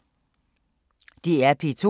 DR P2